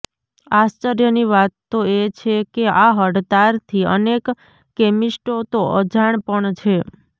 આશ્ર્ચર્યની વાત તો એ છેકે આ હડતાલથી અનેક કેમીસ્ટો તો અજાણ પણ છે